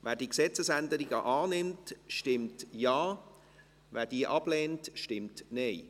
Wer die Gesetzesänderungen annimmt, stimmt Ja, wer diese ablehnt, stimmt Nein.